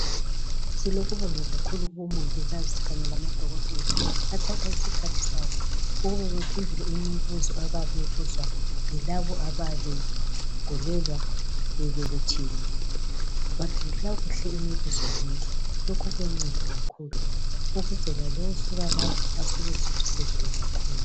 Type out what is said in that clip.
Silokubonga kakhulu kubomongikazi kanye lamadokotela, athatha isikhathi sabo ukuba bephendule imibuzo abayabe beyibuzwa yilabo abayabe begulelwa, bebelethile. Baphendula kuhle imibuzo yonke. Lokho kuyanceda kakhulu ukuze lalowo osuka lapho, asuke esuthisekile kakhulu.